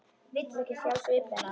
Vill ekki sjá svip hennar.